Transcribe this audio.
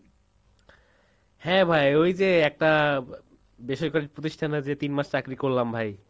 হ্যাঁ ভাই, ওই যে একটা বেসরকারি প্রতিষ্ঠানে যে তিন মাস চাকরি করলাম ভাই।